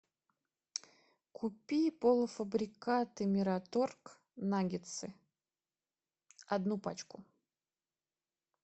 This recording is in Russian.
купи полуфабрикаты мираторг наггетсы одну пачку